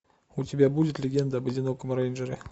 у тебя будет легенда об одиноком рейнджере